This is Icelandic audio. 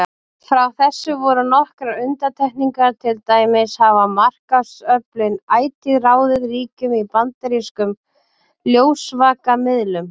Frá þessu voru nokkrar undantekningar, til dæmis hafa markaðsöflin ætíð ráðið ríkjum í bandarískum ljósvakamiðlum.